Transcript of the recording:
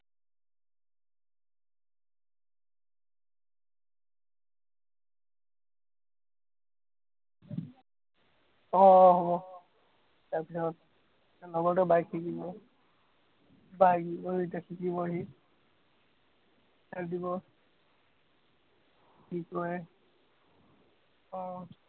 আহ আহ তাৰ পিছত লগৰটোৱে bike শিকিব, bike এতিয়া শিকিব সি, start দিব কি কৰে আহ